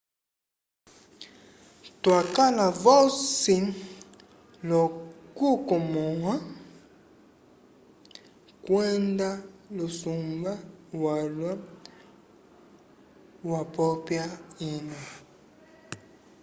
twakala vosi l'okukomõha kwenda lusumba walwa wapopya ina